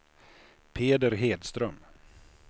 Peder Hedström